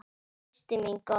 Systir mín góð.